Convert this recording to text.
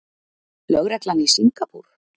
Lögreglan í Singapúr?